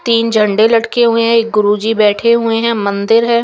तिन झंडे लटके हुए है एक गुरूजी बेठे हुए है मंदिर है।